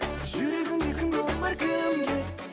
жүрегіңде кімге орын бар кімге